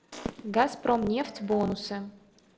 газпромнефть бонусы